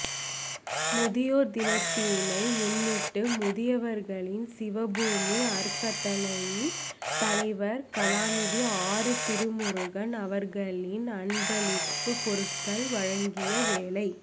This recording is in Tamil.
முதியோர்தினத்தினை முன்னிட்டு முதியவர்களிற்கு சிவபூமி அறக்கட்டளையின் தலைவர் கலாநிதி ஆறு திருமுருகன் அவர்களினால்அன்பளிப்பு பொருட்கள் வழங்கியவேளை